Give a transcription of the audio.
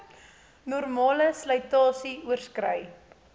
normale slytasie oorskrei